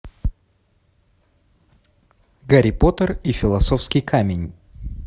гарри поттер и философский камень